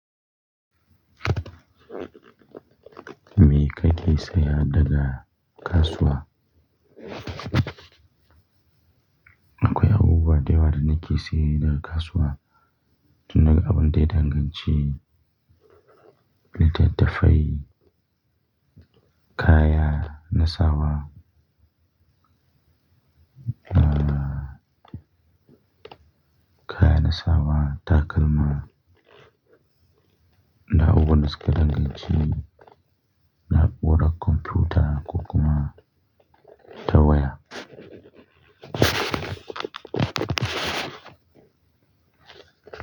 Me ka ke saya daga kasuwa? Akwai abubuwa da yawa da nake saye daga kasuwa, tun daga abun daidainganci wanda dan dafa ne, kaya na sawa, ahhh kaya na sawa, takalma, da abubuwan da suka danganci, na'uran kwamfuta, kokuma, ta waya.